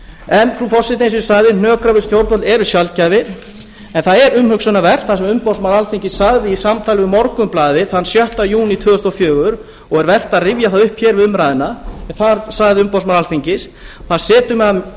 en frú forseti eins og ég sagði hnökrar við stjórnvöld eru sjaldgæfir en það er umhugsunarvert sem umboðsmaður alþingis sagði í samtali við morgunblaðið þann sjötta júní tvö þúsund og fjögur og er vert að rifja það upp hér við umræðuna þar sagði umboðsmaður alþingis það